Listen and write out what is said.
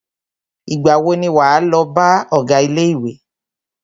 Ìgbà wo ni wà á lọ bá ọgá ilé ìwé?